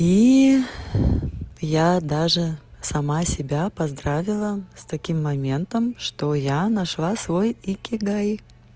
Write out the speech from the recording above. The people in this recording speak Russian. и я даже сама себя поздравила с таким моментом что я нашла свой икигай